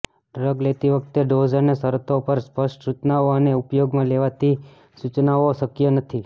drug લેતી વખતે dose અને શરતો પર સ્પષ્ટ સૂચનાઓ અને ઉપયોગમાં લેવાતી સૂચનાઓ શક્ય નથી